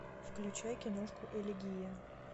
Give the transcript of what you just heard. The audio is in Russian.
включай киношку элегия